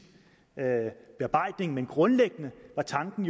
bearbejdning men grundlæggende var tanken